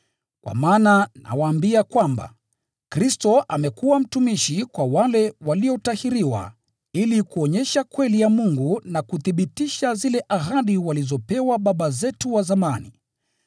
Kwa maana nawaambia kwamba, Kristo amekuwa mtumishi kwa wale waliotahiriwa ili kuonyesha kweli ya Mungu na kuthibitisha zile ahadi walizopewa baba zetu wa zamani,